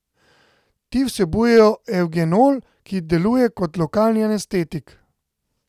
Ti vsebujejo evgenol, ki deluje kot lokalni anestetik.